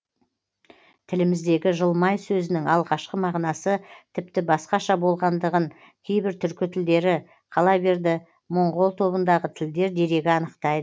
тіліміздегі жылмай сөзінің алғашқы мағынасы тіпті басқаша болғандығын кейбір түркі тілдері қала берді моңғол тобындағы тілдер дерегі анықтайды